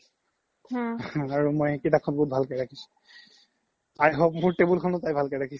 আৰু মই সেই কিতাপ খন বহুত ভালকে ৰাখিছো i hope তাই মোৰ table খনও ভালকে ৰাখিছে